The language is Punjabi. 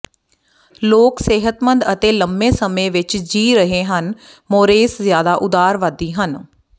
ਲੋਕ ਸਿਹਤਮੰਦ ਅਤੇ ਲੰਮੇ ਸਮੇਂ ਵਿਚ ਜੀ ਰਹੇ ਹਨ ਮੋਰੇਸ ਜਿਆਦਾ ਉਦਾਰਵਾਦੀ ਹਨ